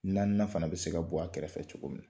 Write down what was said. Naaninan fana bɛ se ka bɔ a kɛrɛfɛ cogo min na.